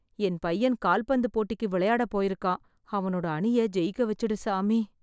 என் பையன் கால்பந்து போட்டிக்கு விளையாட போயிருக்கான்... அவனோட அணியை ஜெயிக்க வெச்சுடு சாமி.